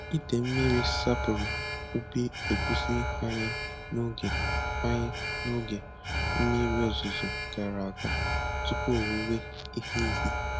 Ide mmiri sapuru ubi egusi anyị n'oge anyị n'oge mmiri ozuzo gara aga tupu owuwe ihe ubi.